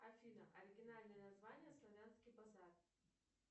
афина оригинальное название славянский базар